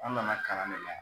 An nana kalan ne la